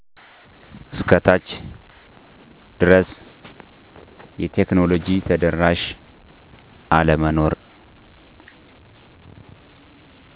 እስከ ታች ድረስ የቴክኖሎጂ ተደራሽ አለመኖር